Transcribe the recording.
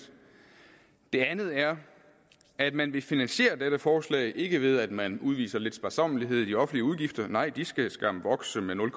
det andet er at man vil finansiere dette forslag ikke ved at man udviser lidt sparsommelighed med offentlige udgifter nej de skal skam vokse med nul